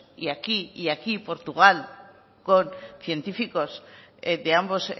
y aquí portugal con científicos de ambos